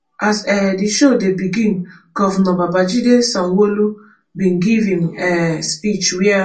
as um di show dey begin govnor babajide sanwoolu bin give im um speech wia.